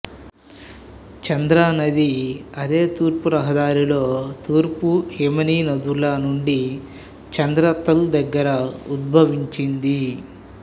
చంద్రా నది అదే రహదారిలో తూర్పు హిమానీనదుల నుండి చంద్ర తాల్ దగ్గర ఉద్భవించింది